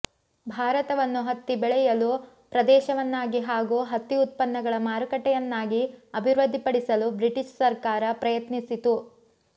ಭಾರತವನ್ನು ಹತ್ತಿ ಬೆಳೆಯಲು ಪ್ರದೇಶವನ್ನಾಗಿ ಹಾಗೂ ಹತ್ತಿ ಉತ್ಪನ್ನಗಳ ಮಾರುಕಟ್ಟೆಯನ್ನಾಗಿ ಅಭಿವೃದ್ಧಿಪಡಿಸಲು ಬ್ರಿಟಿಶ್ ಸರ್ಕಾರ ಪ್ರಯತ್ನಿಸಿತು